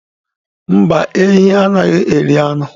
Mba, ehi anaghi eri anu.